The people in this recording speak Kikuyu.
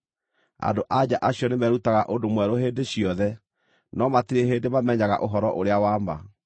Andũ-a-nja acio nĩmerutaga ũndũ mwerũ hĩndĩ ciothe, no matirĩ hĩndĩ mamenyaga ũhoro ũrĩa wa ma.